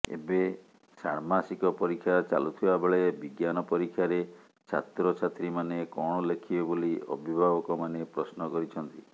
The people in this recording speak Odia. ଏବେ ସାଣ୍ମାଷିକ ପରୀକ୍ଷା ଚାଲୁଥିବାବେଳେ ବିଜ୍ଞାନ ପରୀକ୍ଷାରେ ଛାତ୍ରଛାତ୍ରୀ ମାନେ କଣ ଲେଖିବେ ବୋଲି ଅଭିଭବକମାନେ ପ୍ରଶ୍ନ କରିଛନ୍ତି